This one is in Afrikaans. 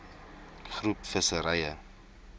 groep visserye